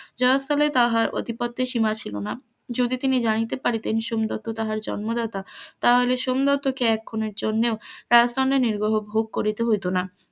জয়স্থলে তার অধিপত্যের সীমা ছিল না, যদি তিনি জানিতে পারিতেন সোমদত্ত তাহার জন্ম দাতা তাহা হইলে সোমদত্তকে এখণের জন্য কারাদন্ডে নির্বহ ভোগ করিতে হইত না,